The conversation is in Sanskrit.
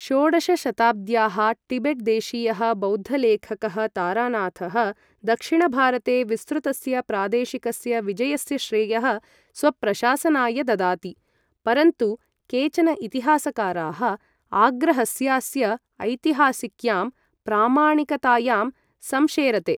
षोडशशताब्द्याः टिबेट् देशीयः बौद्धलेखकः तारानाथः दक्षिणभारते विस्तृतस्य प्रादेशिकस्य विजयस्य श्रेयः स्वप्रशासनाय ददाति, परन्तु केचन इतिहासकाराः आग्रहस्यास्य ऐतिहासिक्यां प्रामाणिकतायां संशेरते।